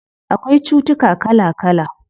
Akwai cutuka kala kala